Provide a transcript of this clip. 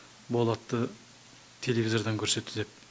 болатты телевизордан көрсетті деп